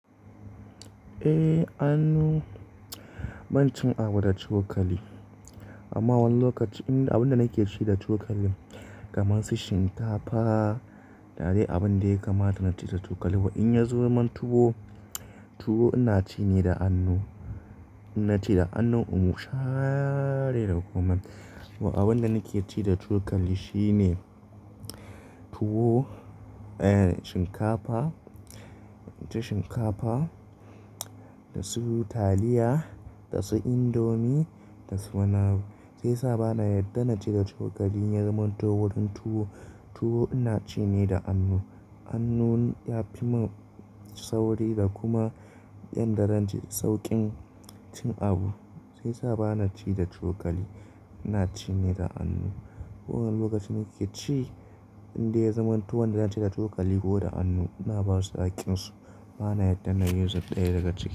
Eh, annu. Ban cin abu da cokali amma wani lokaci abin da nake ci da cokali kamar su shinkafa, da dai abun dai kamata na ci da cokali. Wa in ya zama tuwo, tuwo ina ci ne da hanu. Ina ci da hanu musa be da kuma wa abin da nake ci da cokali shine tuwo, eh shinkafa, ci shinkafa da su taliya, da su indomi, da su kunu. Sai sa bana yarda na ci da cokali in ya zama tuwo. Wajen tuwo ina ci ne da hanu. Hanu ya fi min sauri da kuma yanda zan ci saukin cin abu sai sa ba na ci da cokali, ina ci ne da hanu. Wani lokaci nake ci inda ya zama tuwon da na ci da cokali ko da hanu na basu hakkinsu bana yarda na yi zurf ɗaya daga ciki.